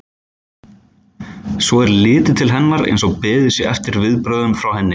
Svo er litið til hennar eins og beðið sé eftir viðbrögðum frá henni.